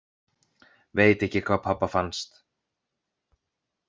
Veit ekki hvað pabba fannst.